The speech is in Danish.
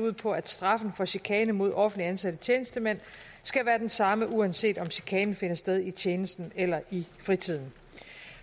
ud på at straffen for chikane mod offentligt ansatte tjenestemænd skal være den samme uanset om chikanen finder sted i tjenesten eller i fritiden